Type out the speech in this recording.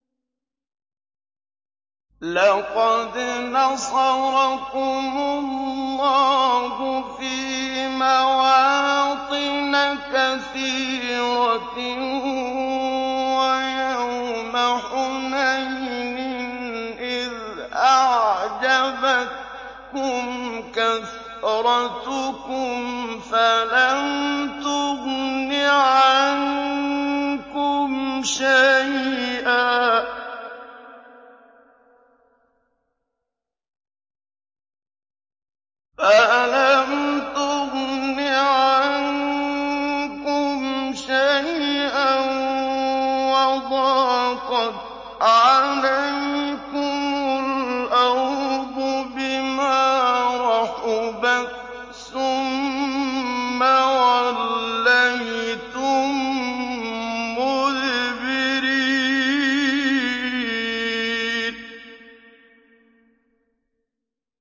لَقَدْ نَصَرَكُمُ اللَّهُ فِي مَوَاطِنَ كَثِيرَةٍ ۙ وَيَوْمَ حُنَيْنٍ ۙ إِذْ أَعْجَبَتْكُمْ كَثْرَتُكُمْ فَلَمْ تُغْنِ عَنكُمْ شَيْئًا وَضَاقَتْ عَلَيْكُمُ الْأَرْضُ بِمَا رَحُبَتْ ثُمَّ وَلَّيْتُم مُّدْبِرِينَ